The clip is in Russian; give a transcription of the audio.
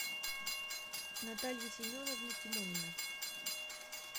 наталья семеновна тимонина